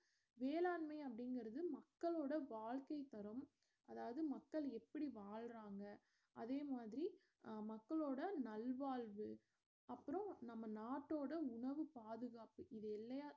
வேளாண்மை அப்படிங்கறது மக்களோட வாழ்க்கைத்தரம் அதாவது மக்கள் எப்படி வாழ்றாங்க அதே மாதிரி மக்களோட நல் வாழ்வு அப்பறோம் நம்ம நாட்டோட உணவு பாதுகாப்பு இத எல்லயா